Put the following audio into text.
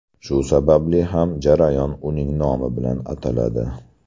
Shu sababli ham jarayon uning nomi bilan ataladi.